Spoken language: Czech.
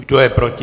Kdo je proti?